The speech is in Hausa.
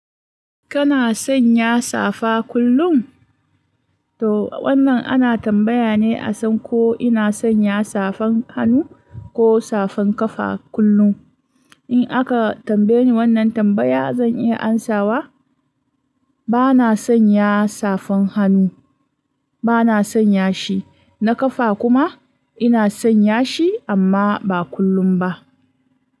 Kana sanya safa kullum? To wannan ana tambaya ne asan ko ina sanya safan hannu ko safan kafa kullum. In aka tambaye ni wannan tambaya zan iya amsawa, bana sanya safan hannu, bana sanya shi, na kafa kuma ina sanya shi amma ba kullum ba.